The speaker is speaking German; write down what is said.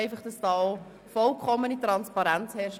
Ich tue dies auch, damit vollkommene Transparenz herrscht.